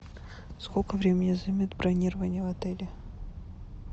сколько времени займет бронирование в отеле